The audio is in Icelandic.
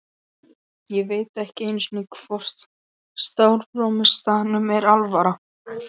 Ég veit ekki einu sinni hvort Stórfurstanum er alvara.